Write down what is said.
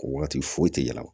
Wagati foyi tɛ yɛlɛ